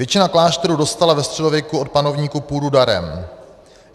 Většina klášterů dostala ve středověku od panovníků půdu darem.